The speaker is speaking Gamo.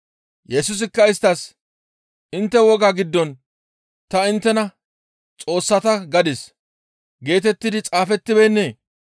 Yesusikka isttas, «Intte wogaa giddon, ‹Ta inttena Xoossata gadis› geetetti xaafettibeennee?